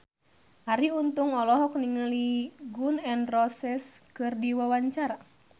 Arie Untung olohok ningali Gun N Roses keur diwawancara